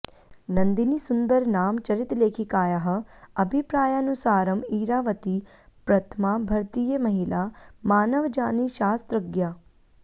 नन्दिनी सुन्दर नाम चरितलेखिकायाः अभिप्रायानुसारम् इरावती प्रथमा भरतीयमहिलामानवजानिशास्त्रज्ञा